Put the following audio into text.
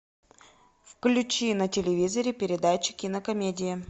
включи на телевизоре передачу кинокомедия